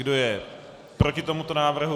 Kdo je proti tomuto návrhu?